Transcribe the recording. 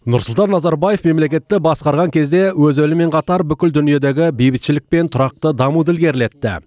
нұрсұлтан назарбаев мемлекетті басқарған кезде өз елімен қатар бүкіл дүниедегі бейбітшілік пен тұрақты дамуды ілгерілетті